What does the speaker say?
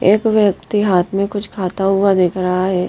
एक व्यक्ति हाथ में कुछ खाता हुआ दिख रहा है।